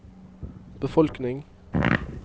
befolkning